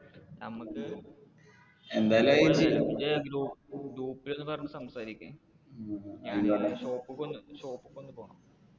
നമുക്ക് ഇജ്ജ്‌ജ് group ൽ ഒന്ന് പറഞ്ഞു സംസാരിക്ക് എനക്ക് shop ക്ക് ഒന്ന് പോണം.